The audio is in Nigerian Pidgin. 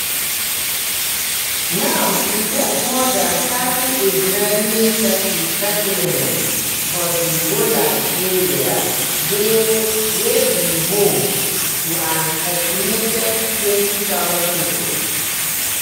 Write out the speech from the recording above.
now e get more dan thirty israeli settlements for di golan area wey be home to an estimated 20000 pipo.